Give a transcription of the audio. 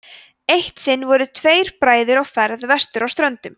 eitt sinn voru tveir bræður á ferð vestur á ströndum